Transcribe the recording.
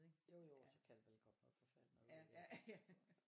Jo jo og så kan der vel komme noget forfærdeligt noget ud af det så